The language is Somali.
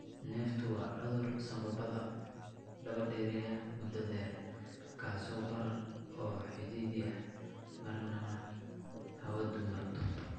Neeftu waa cudur sanbabada daba-dheeraaday (mudda dheer) kaas oo barara oo cidhiidhiya marinnada hawadu marto.